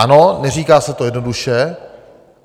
Ano, neříká se to jednoduše.